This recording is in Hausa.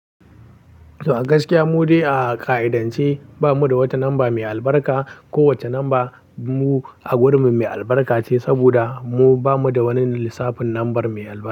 To a gaskiya mu dai a ƙa'idance ba mu da wata lamba mai albarka ko wacce lamba mu a gurinmu mai albarka ce saboda mu ba mu da wani lissafin lambar mai albarka.